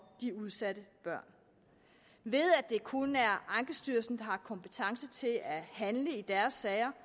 de udsatte børn ved at det kun er ankestyrelsen har kompetence til at handle i deres sager